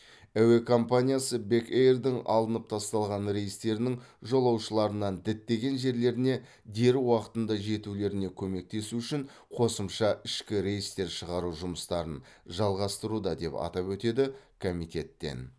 әуе компаниясы бек эйрдің алынып тасталған рейстерінің жолаушыларынан діттеген жерлеріне дер уақытында жетулеріне көмектесу үшін қосымша ішкі рейстер шығару жұмыстарын жалғастыруда деп атап өтеді комитеттен